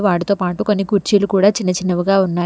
వాడితో పాటు కొన్ని కుర్చీలు కూడా చిన్న చిన్నవిగా ఉన్నాయి.